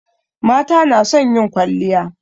Mata na son yin kwalliya